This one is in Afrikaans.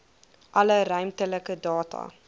alle ruimtelike data